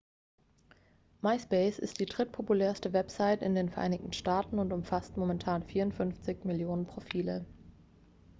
myspace ist die drittpopulärste website in den vereinigten staaten und umfasst momentan 54 millionen profile